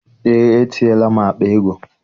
Eé, etinyela m akpa ego.